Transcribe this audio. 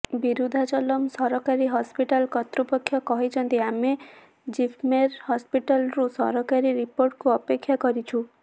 ବିରୁଧାଚଲମ୍ ସରକାରୀ ହସ୍ପିଟାଲ୍ କର୍ତ୍ତୃପକ୍ଷ କହିଛନ୍ତି ଆମେ ଜିପମେର ହସ୍ପିଟାଲ୍ରୁ ସରକାରୀ ରିପୋର୍ଟକୁ ଅପେକ୍ଷା କରିଛୁ